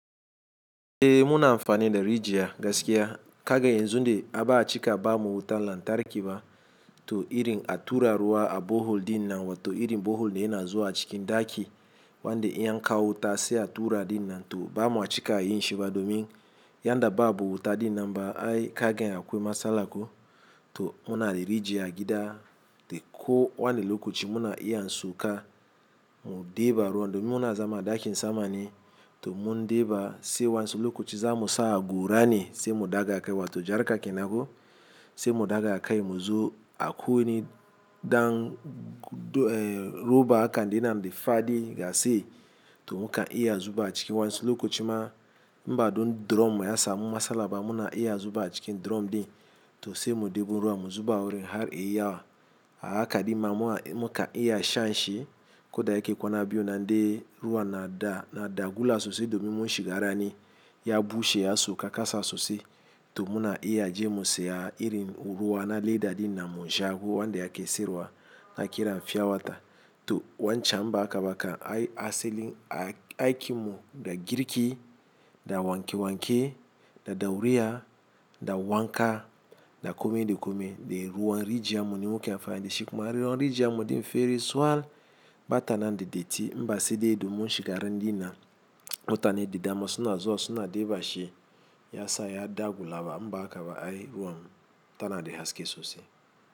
Eh muna amfani da rijiya gaskiya, kaga yanzu inda aka aika ba mu wuta lantarki ba to irin a tura ruwa a buhul dinnan wato irin buhul da yana zuwa cikin ɗaki wanda in an kawo wuta sai a tura dinnan to bama ciki yin shi ba domin yanda babu wuta dinnan ba ai kaga akwai matsala ko? To muna da rijiya a gida dai ko wani lokaci muna iya sauka mu ɗeba ruwa domin muna zama a ɗakin samane, to mun ɗeba sai wansu lokaci za mu sa gora ne sai mu daga a kai wato jar ka kenan ko sai mu daga a kai mu zo a ku wani ɗan roba akan dinnan da fadi gasi to muka iya zuba cikin wani lokaci ma inba don drum ya samu masala ba muna iya zuba cikin drum din to sai mu ɗeba ruwa mu zuba wurin har iya haka, haka di ma muka iya shan shi ko da yake kwana biyu nan dai ruwa na dagula sosai domin mun shiga rani ya bushe ya sauka kasa sosai, to muna iya je mu saya irin ruwa na leda dinnan mu sha ko wanda ake siyarwa hakiran fya wata to wancan mba akaba ka asalin aikin mu da girki da wanke-wanke da ɗaureya da wanka da komai da komai, dai ruwan rjiyarmu ne muke amfani dasu kuma ruwan rijiyar namu fair sal. Bata nan da datti inba sai dai domin mun shiga ran dinnan mutane da dama suna zuwa suna ɗeba shi ya sa ya dagulawa inba hakaba ai ruwan mu tana da haske sosai.